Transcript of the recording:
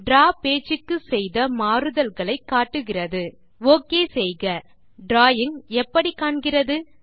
draw page க்கு செய்த மாறுதல்களை காட்டுகிறது ஒக் செய்க டிராவிங் எப்படி காண்கிறது